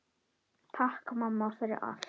Takk mamma, fyrir allt.